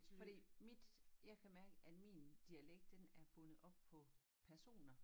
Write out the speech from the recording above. Fordi mit jeg kan mærke at min dialekt den er bundet op på personer